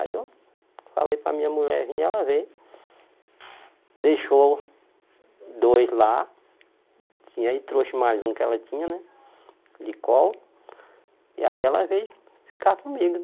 Aí eu falei para a minha mulher vir, ela veio, deixou dois lá, e aí trouxe mais um que ela tinha, né, de colo, e aí ela veio ficar comigo